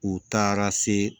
U taara se